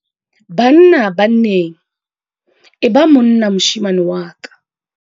Banna-banneng- E ba monna moshemane wa ka